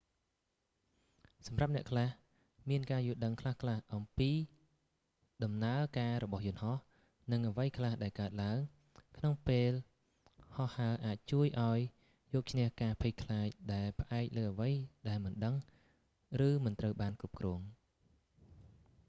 សម្រាប់អ្នកខ្លះ មានការយល់ដឹងខ្លះៗពីដំណើរការរបស់យន្តហោះ និងអ្វីខ្លះដែលកើតឡើងក្នុងពេលហោះហើរអាចជួយឱ្យយកឈ្នះការភ័យខ្លាចដែលផ្អែកលើអ្វីដែលមិនដឹង ឬមិនត្រូវបានគ្រប់គ្រង